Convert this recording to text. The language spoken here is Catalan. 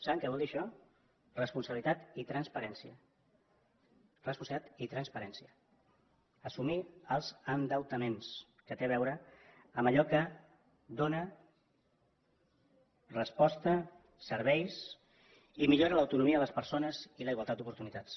saben què vol dir això responsabilitat i transparència responsabilitat i transparència assumir els endeutaments que té a veure amb allò que dóna resposta serveis i millora de l’autonomia de les persones i la igualtat d’oportunitats